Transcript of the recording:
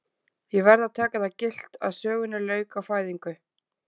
Ég verð að taka það gilt að sögunni lauk á fæðingu